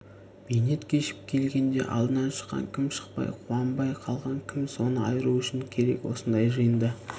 бейнет кешіп келгенде алдынан шыққан кім шықпай қуанбай қалған кім соны айыру үшін керек осындай жиында